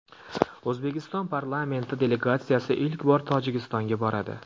O‘zbekiston parlamenti delegatsiyasi ilk bor Tojikistonga boradi.